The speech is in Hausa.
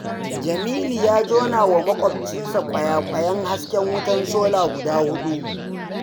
Jamilu ya jonawa maƙwabcinsa ƙwayaƙwayen hasken wutar sola guda 4.